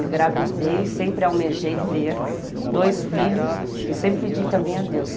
Engravidei, sempre almejei ter dois filhos e sempre pedi também a Deus.